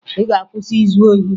Ị ga-akwụsị izu ohi!